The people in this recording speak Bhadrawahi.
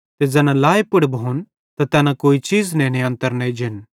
ते ज़ैना लाए पुड़ भोन त तैना कोई चीज़ नेने अन्तर न एजन